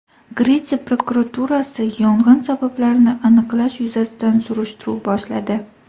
Gretsiya prokuraturasi yong‘in sabablarini aniqlash yuzasidan surishtiruv boshladi.